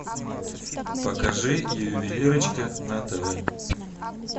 покажи ювелирочка на тв